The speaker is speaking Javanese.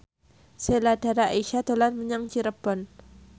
Sheila Dara Aisha dolan menyang Cirebon